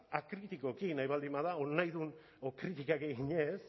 akritikoki nahi baldin bada edo nahi duen kritikak eginez